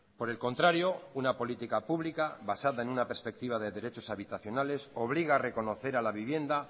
por el contrario una política pública basada en una perspectiva de derechos habitacionales obliga a reconocer a la vivienda